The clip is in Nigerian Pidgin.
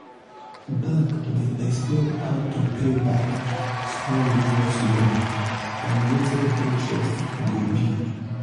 bank dey explain how to pay back small business loan and wetin interest go be.